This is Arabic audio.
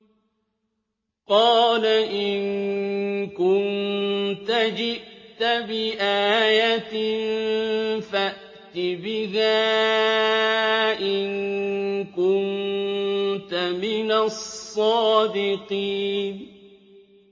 قَالَ إِن كُنتَ جِئْتَ بِآيَةٍ فَأْتِ بِهَا إِن كُنتَ مِنَ الصَّادِقِينَ